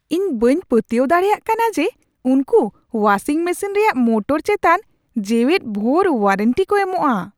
ᱤᱧ ᱵᱟᱹᱧ ᱯᱟᱹᱛᱭᱟᱹᱣ ᱫᱟᱲᱮᱭᱟᱜ ᱠᱟᱱᱟ ᱡᱮ ᱩᱱᱠᱩ ᱳᱣᱟᱥᱤᱝ ᱢᱮᱥᱤᱱ ᱨᱮᱭᱟᱜ ᱢᱳᱴᱚᱨ ᱪᱮᱛᱟᱱ ᱡᱮᱣᱮᱫ ᱵᱷᱳᱨ ᱳᱣᱟᱨᱮᱱᱴᱤ ᱠᱚ ᱮᱢᱚᱜᱼᱟ ᱾